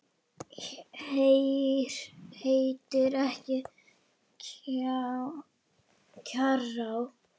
Heitir ekki Kjarrá!